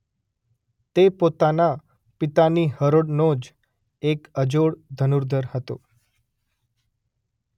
તે પોતાના પિતાની હરોળનો જ એક અજોડ ધનુર્ધર હતો.